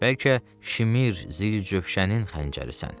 Bəlkə Şimir, Zilcöşənin xəncərisən.